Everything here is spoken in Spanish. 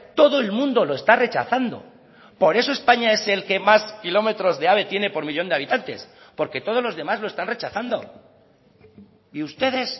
todo el mundo lo está rechazando por eso españa es el que más kilómetros de ave tiene por millón de habitantes porque todos los demás lo están rechazando y ustedes